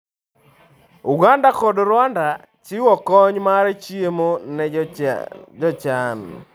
Uganda kod Rwanda chiwo kony mar chiemo ne jochan.